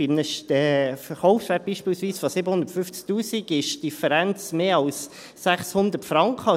Beispielsweise bei einem Verkaufswert von 750 000 Franken beträgt die Differenz mehr als 600 Franken.